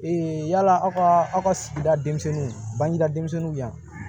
yala aw ka aw ka sigida denmisɛnninw bangeda denmisɛnninw yan